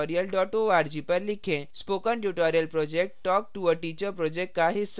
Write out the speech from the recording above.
spoken tutorial project talktoa teacher project का हिस्सा है